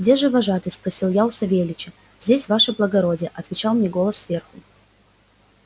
где же вожатый спросил я у савельича здесь ваше благородие отвечал мне голос сверху